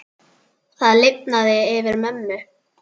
Það lifnaði yfir mömmu.